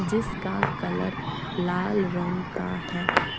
जिस का कलर लाल रंग का है ।